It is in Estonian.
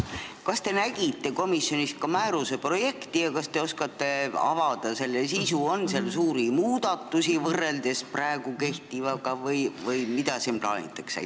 Kas te nägite komisjonis ka määruse projekti ja kas te oskate avada selle sisu – on seal suuri muudatusi võrreldes praegu kehtivaga või mida sellega plaanitakse?